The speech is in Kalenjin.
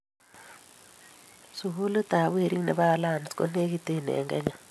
sukulitab werik nebo alliance ko nekintee en kenya